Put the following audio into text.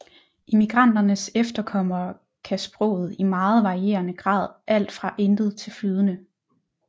Immigranternes efterkommere kan sproget i meget varierende grad alt fra intet til flydende